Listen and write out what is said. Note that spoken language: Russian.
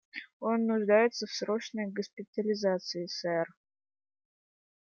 он нуждается в срочной госпитализации сэр